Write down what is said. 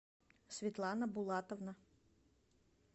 светлана булатовна